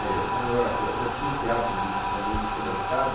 Eu como eu era, eu já tinha esse hábito de de de, para mim, descer da escada.